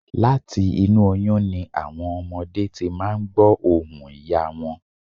Láti inú oyún ni àwọn ọmọdé ti máa n gbọ̀ ohùn ìyá wọn